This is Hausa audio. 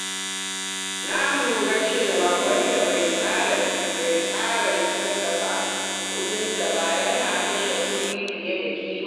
Na lura cewa wanda bai tsara kasafin kuɗinsa ba yana kashe kuɗi fiye da kima.